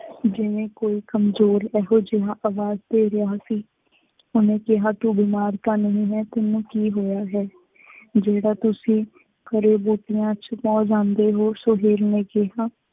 ਜਿਵੇਂ ਕੋਈ ਕਮਜ਼ੋਰ ਇਹੋ ਜਿਹਾ ਆਵਾਜ਼ ਦੇ ਰਿਹਾ ਸੀ। ਉਹਨੇ ਕਿਹਾ ਤੂੰ ਬਿਮਾਰ ਤਾਂ ਨਹੀਂ ਹੈ, ਤੈਂਨੂੰ ਕੀ ਹੋਇਆ ਹੈ, ਜਿਹੜਾ ਤੁਸੀਂ ਘਰੇ ਗੋਟੀਆਂ ਛੁਪਾ ਜਾਂਦੇ ਹੋ, ਸੁਹੇਲ ਨੇ ਕਿਹਾ,